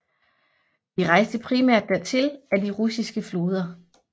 De rejste primært dertil ad de russiske floder